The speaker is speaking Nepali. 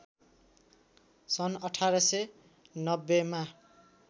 सन् १८९० मा